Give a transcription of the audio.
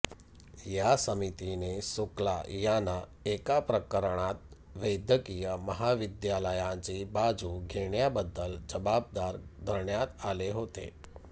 या समितीने शुक्ला यांना एका प्रकरणात वैद्यकीय महाविद्यालयांची बाजू घेण्याबद्दल जबाबदार धरण्यात आले होते